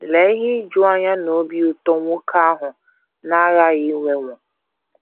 Lee ihe ijuanya na obi ụtọ nwoke ahụ na - aghaghị inwewo!